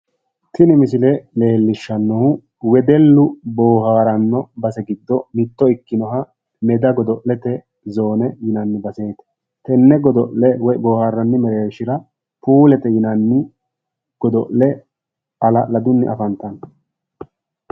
tini misile leellishshannohu wedeellu boohaaranno base giddo mitte ikkinoha meda godo'lete zoone yinanni baseeti, tenne godo'le woy boohaaranni mereershira puulete yinanni godo'le halaladunni afantanno.